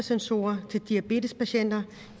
sensorer til diabetespatienter